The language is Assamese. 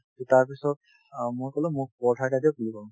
to তাৰপিছত অ মই কলো মোক paratha এটা দিয়ক বুলি কম